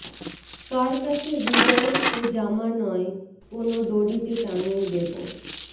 কার কাছে হৃদয় তো জামা নয় কোনো দড়িতে টাঙিয়ে দেবো